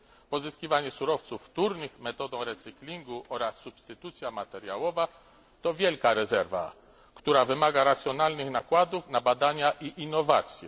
Pozyskiwanie surowców wtórnych metodą recyclingu oraz substytucja materiałowa to wielka rezerwa, która wymaga racjonalnych nakładów na badania i innowacje.